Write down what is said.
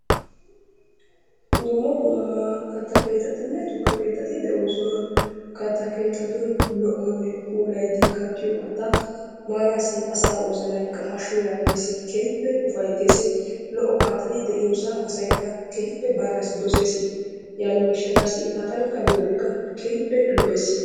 Dumma dumma katta keettatinne tukke keettati de'oosona. katta keettatun lo''onne puulayidi kattiyo katta maanaassi asaa wozanaykka hashshu yaages, keehippe ufayttes, lo''o kattati de'iyoosa asaykka keehippe baanaassi doses, yaaniyo gishshataassi ha tankka baanassi keehippe lo''ees.